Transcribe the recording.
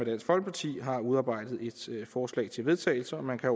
dansk folkeparti har udarbejdet et forslag til vedtagelse og man kan